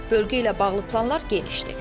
Bölgə ilə bağlı planlar genişdir.